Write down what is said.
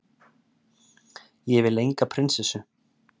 Ég vil enga prinsessu.